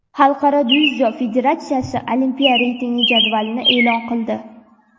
Xalqaro dzyudo federatsiyasi olimpiya reyting jadvalini e’lon qildi.